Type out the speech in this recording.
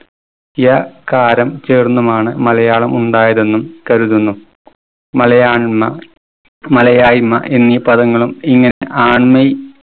യ കാരം ചേർന്നുമാണ് മലയാളം ഉണ്ടായതെന്നും കരുതുന്നു. മലയാണ്മ മലയായിമ്മ എന്നീ പദങ്ങളും